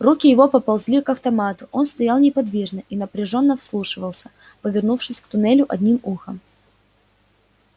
руки его поползли к автомату он стоял неподвижно и напряжённо вслушивался повернувшись к туннелю одним ухом